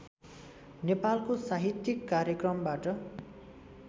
नेपालको साहित्यिक कार्यक्रमबाट